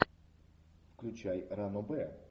включай ранобэ